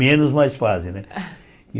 Menos mas fazem, né?